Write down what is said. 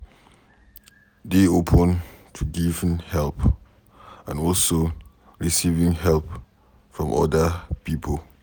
Dey open to giving help and also receiving help from oda pipo